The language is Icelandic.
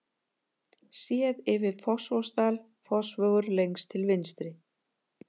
Séð yfir Fossvogsdal, Fossvogur lengst til vinstri.